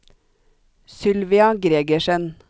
Sylvia Gregersen